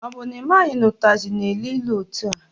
Ọ bụ na ị maghị na ụtazị na-elu ilu etua?